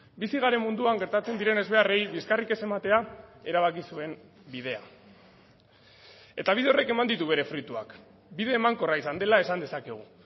bizi garen munduan gertatzen diren ezbeharrei bizkarrik ez ematea erabaki zuen bidea eta bide horrek eman ditu bere fruituak bide emankorra izan dela esan dezakegu